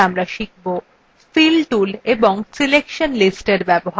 fill tools এবং selection listsএর ব্যবহার